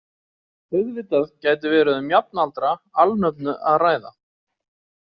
Auðvitað gæti verið um jafnaldra alnöfnu að ræða.